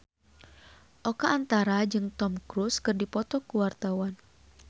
Oka Antara jeung Tom Cruise keur dipoto ku wartawan